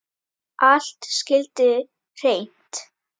Allt skyldi hreint.